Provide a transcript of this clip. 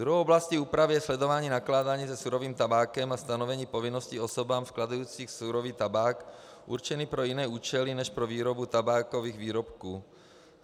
Druhou oblastí úpravy je sledování nakládání se surovým tabákem a stanovení povinností osobám skladujícím surový tabák určený pro jiné účely než pro výrobu tabákových výrobků.